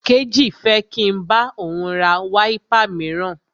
Kéjì fẹ́ kí n bá òun ra wáípà míràn.